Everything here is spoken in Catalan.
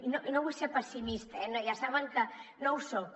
i no vull ser pessimista eh ja saben que no ho soc